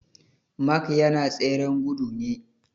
Mark yana tseren gudu ne